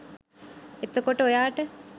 එතකොට ඔයාට?